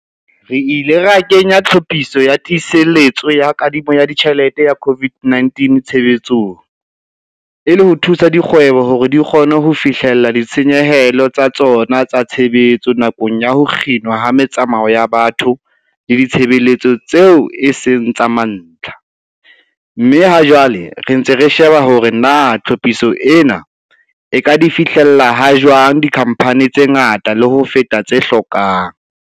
Re ile ra kenya Tlhophiso ya Tiiseletso ya Kadimo ya Ditjhelete ya COVID-19 tshebetsong, e le ho thusa dikgwebo hore di kgone ho fihlella ditshenyehelo tsa tsona tsa tshebetso nakong ya ho kginwa ha metsamao ya batho le ditshebeletso tseo e seng tsa mantlha, mme ha jwale re ntse re sheba hore na tlhophiso ena e ka di fihlella ha jwang dikhamphane tse ngata le ho feta tse hlokang.